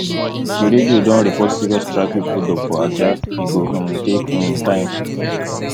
di radio don report serious traffic holdup for ajah e go um take um time